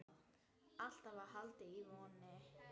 Alltaf var haldið í vonina.